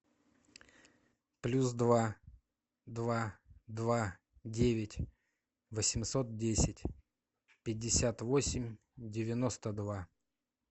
плюс два два два девять восемьсот десять пятьдесят восемь девяносто два